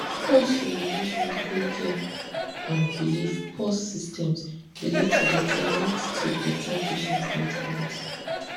pause to dey bridge medical care and belief pause systems dey lead to better lead to better patient outcomes